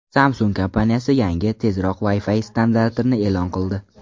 Samsung kompaniyasi yangi, tezroq Wi-Fi standartini e’lon qildi.